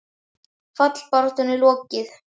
Fallbaráttunni lokið?